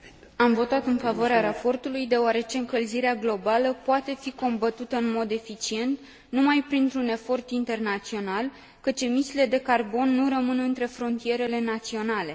Am votat în favoarea raportului deoarece încălzirea globală poate fi combătută în mod eficient numai printr un efort internațional, căci emisiile de carbon nu rămân între frontierele naționale.